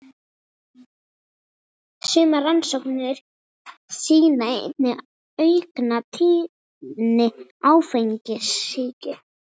Sumar rannsóknir sýna einnig aukna tíðni áfengissýki.